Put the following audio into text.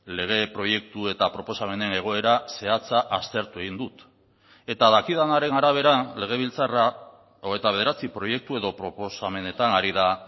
lege proiektu eta proposamenen egoera zehatza aztertu egin dut eta dakidanaren arabera legebiltzarra hogeita bederatzi proiektu edo proposamenetan ari da